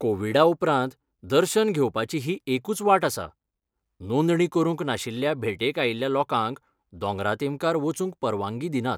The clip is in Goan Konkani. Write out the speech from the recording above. कोविडा उपरांत, दर्शन घेवपाची ही एकूच वाट आसा, नोंदणी करूंक नाशिल्ल्या भेटेक आयिल्ल्या लोकांक दोंगरा तेमकार वचूंक परवानगी दिनात.